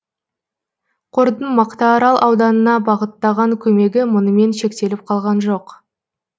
қордың мақтаарал ауданына бағыттаған көмегі мұнымен шектеліп қалған жоқ